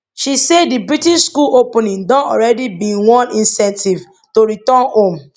she say di british school opening don already been one incentive to return home